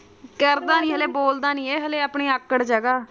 ਕਰਦਾ ਨੀ ਇਹ ਹਲੇ ਆਪਣੀ ਆਕੜ ਚ ਹੈਗਾ।